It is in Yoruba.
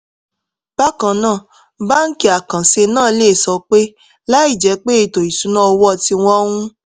bákan náà báńkì àkànṣe náà lè sọ pé láìjẹ́ pé ètò ìṣúnná owó tí wọ́n ń